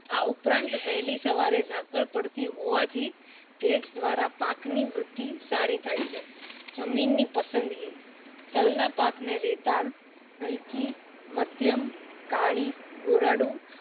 આ ઉપરાંત વેલી સવારે ઝાકળ પડતી હોવાથી ભેજ દ્વારા પાક ની વૃદ્ધિ સારી થાય છે જમીન ની પદાન્દગી તલ ના પાક ને રેતાળ, હલકી, મધ્યમ, કાળી ગોરાડું